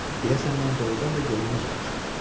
deyəsən mən doğrudan da görünməz olmuşam.